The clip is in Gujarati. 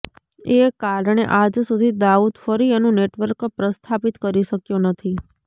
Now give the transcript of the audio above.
એ કારણે આજ સુધી દાઉદ ફરી એનું નેટવર્ક પ્રસ્થાપિત કરી શક્યો નથી